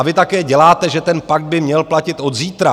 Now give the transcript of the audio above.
A vy také děláte, že ten pakt by měl platit od zítra.